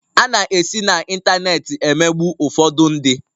A na esite na ịntanetị emegbu ụfọdụ ndị